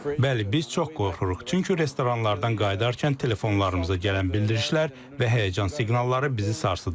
Bəli, biz çox qorxuruq, çünki restoranlardan qayıdarkən telefonlarımıza gələn bildirişlər və həyəcan siqnalları bizi sarsıdıb.